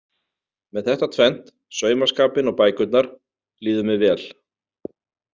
Með þetta tvennt, saumaskapinn og bækurnar, líður mér vel.